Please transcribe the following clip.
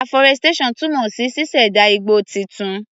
Aforestation túmọ̀ sí ṣíṣẹ̀dá igbó titun.